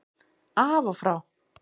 Af og frá